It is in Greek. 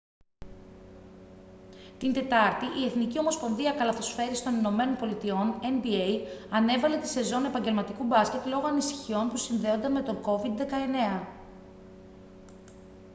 την τετάρτη η εθνική ομοσπονδία καλαθοσφαίρισης των ηνωμένων πολιτειών nba ανέβαλε τη σεζόν επαγγελματικού μπάσκετ λόγω ανησυχιών που συνδέονται με τον covid-19